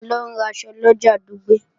Mò ń lọ raṣọ lọjà Dùgbẹ̀